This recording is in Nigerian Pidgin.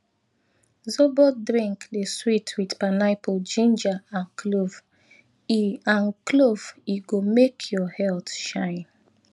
zobo drink dey sweet with pineapple ginger and clove e and clove e go make your health shine